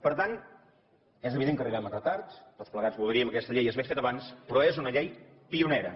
per tant és evident que arribem amb retard tots plegats voldríem que aquesta llei s’hagués fet abans però és una llei pionera